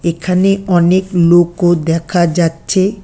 এখানে অনেক লোকও দেখা যাচ্ছে।